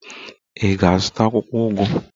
Ị ga-azụta akwụkwọ ugu